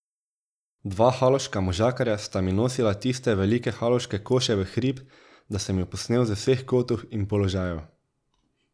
Dva haloška možakarja sta mi nosila tiste velike haloške koše v hrib, da sem ju posnel z vseh kotov in položajev.